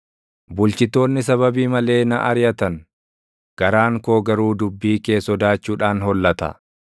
Bulchitoonni sababii malee na ariʼatan; garaan koo garuu dubbii kee // sodaachuudhaan hollata.